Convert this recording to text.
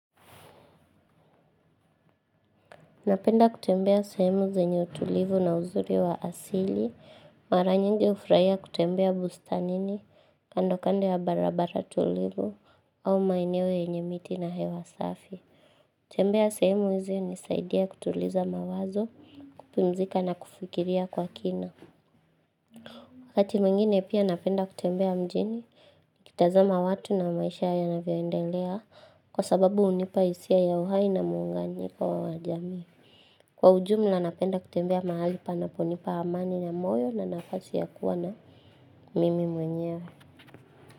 Napenda kutembea sehemu zenye utulivu na uzuri wa asili, mara nyingi ufraia kutembea bustanini, kando kando ya barabara tulivu, au maeneo yenye miti na hewa safi. Tembea sehemu izi unisaidia kutuliza mawazo, kupumzika na kufikiria kwa kina. Wakati mwingine pia napenda kutembea mjini, kitazama watu na maisha yanavyoendelea kwa sababu unipaisia ya uhai na muunganiko wa wajami. Kwa ujumla nanapenda kutembea mahali panaponipa amani na moyo na nafasi ya kuwa na mimi mwenyewe.